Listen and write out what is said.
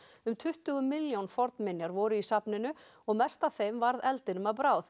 um tuttugu milljón fornminjar voru í safninu og mest af þeim varð eldinum að bráð